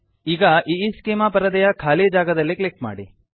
ಈಗ Eeschema Eeschema ಪರದೆಯ ಖಾಲೀ ಜಾಗದಲ್ಲಿ ಕ್ಲಿಕ್ ಮಾಡಿ